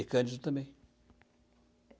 E Cândido também.